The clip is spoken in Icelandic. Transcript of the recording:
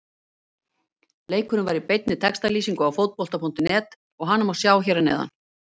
Leikurinn var í beinni textalýsingu á Fótbolta.net og hana má sjá hér að neðan.